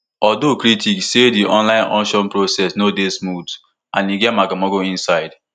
although critics say di online auction process no dey smooth and e get magomago inside